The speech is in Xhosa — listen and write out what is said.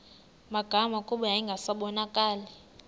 magama kuba yayingasabonakali